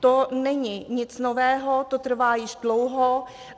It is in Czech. To není nic nového, to trvá již dlouho.